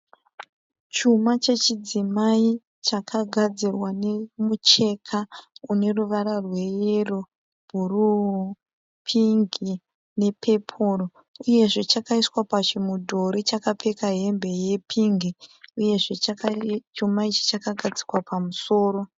Chuma chechidzimai chakagadzirwa nemucheka une ruvara rweyero, bhuruu, pingi nepepuro uyezve chakaiswa pachimudhori chakapfeka hembe yepingi uyezve chuma ichi chakagadzikwa pamusoro.